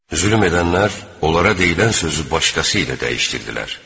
Zülm edənlər onlara deyilən sözü başqası ilə dəyişdirdilər.